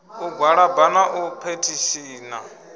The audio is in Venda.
u gwalaba na u phethishina